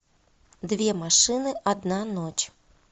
две машины одна ночь